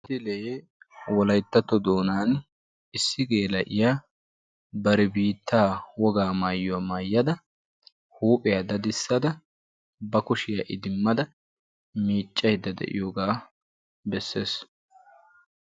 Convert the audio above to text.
Wolayttatto doonan issi geela'iya bantta huuphiya daddisadda bana loyttadda miiccaydde de'iyooga bessees.